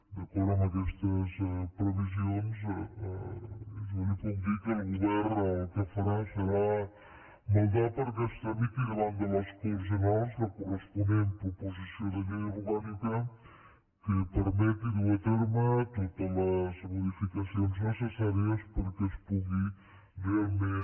d’acord amb aquestes previsions jo li puc dir que el govern el que farà serà maldar perquè es tramiti davant de les corts generals la corresponent proposició de llei orgànica que permeti dur a terme totes les modificacions necessàries perquè es pugui realment